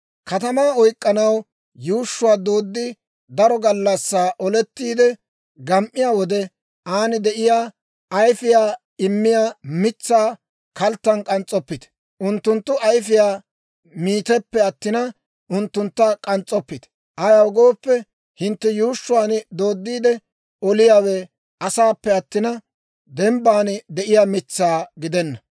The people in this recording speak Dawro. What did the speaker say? «Katamaa oyk'k'anaw yuushshuwaa dooddi, daro gallassaa olettiide gam"iyaa wode, aan de'iyaa ayfiyaa immiyaa mitsaa kalttan k'ans's'oppite; unttunttu ayfiyaa miiteppe attina, unttuntta k'ans's'oppite. Ayaw gooppe, hintte yuushshuwaan dooddiide oliyaawe asaappe attina, dembban de'iyaa mitsaa gidenna.